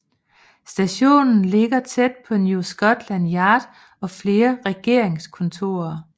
Stationen ligger tæt på New Scotland Yard og flere regeringskontorer